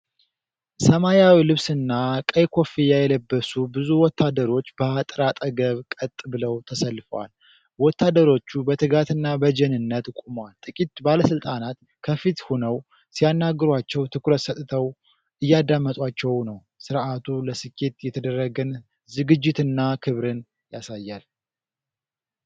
ሰማያዊ ልብስና ቀይ ኮፍያ የለበሱ ብዙ ወታደሮች በአጥር አጠገብ ቀጥ ብለው ተሰልፈዋል። ወታደሮቹ በትጋትና በጀንነት ቆመዋል። ጥቂት ባለሥልጣናት ከፊት ሆነው ሲያናግሯቸው ትኩረት ሰጥተው እያደመጧቸው ነው። ሥርዓቱ ለስኬት የተደረገን ዝግጅትና ክብርን ያሳያል።